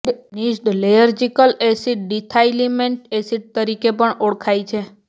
ન્જીડ્ઢ ઃ lysergic acid diethylamide acid તરીકે પણ ઓળખાય છે